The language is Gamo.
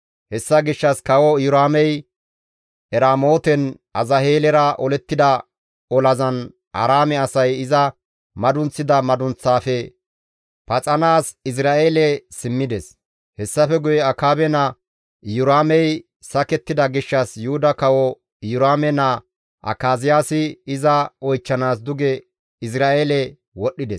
Hessa gishshas kawo Iyoraamey Eramooten Azaheelera olettida olazan Aaraame asay iza madunththida madunththaafe paxanaas Izra7eele simmides. Hessafe guye Akaabe naa Iyoraamey sakettida gishshas Yuhuda kawo Iyoraame naa Akaziyaasi iza oychchanaas duge Izra7eele wodhdhides.